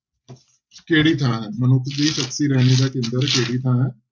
ਕਿਹੜੀ ਥਾਂ ਹੈ, ਮਨੁੱਖ ਦੀ ਸ਼ਖ਼ਸੀ ਰਹਿਣੀ ਦਾ ਕੇਂਦਰ ਕਿਹੜੀ ਥਾਂ ਹੈ?